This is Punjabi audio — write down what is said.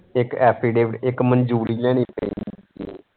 ਇੱਕ affidavit ਇੱਕ ਮਨਜੂਰੀ ਲੈਣੀ .